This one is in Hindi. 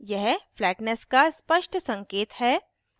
यह फ्लैट्नेस का स्पष्ट संकेत है